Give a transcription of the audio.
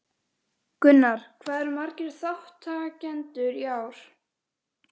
Gunnar, hvað eru margir þátttakendur í ár?